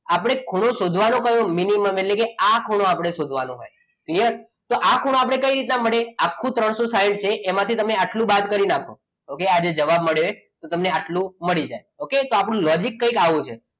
આપણે ખૂણો શોધવાનો કર્યો minimum એટલે કે આ ખૂણો આપણે શોધવાનો હોય યસ આ ખૂણો આપણને કઈ રીતના મળે આખો ત્રણસો સાઈઠ છે તેમાંથી આટલો બાદ કરી નાખો. okay આજે જવાબ મળ્યો એ આટલો મળી જાય okay તો આપણો logic કંઈક આવું છે.